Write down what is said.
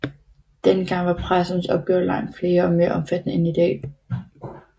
Den gang var præstens opgaver langt flere og mere omfattende end i dag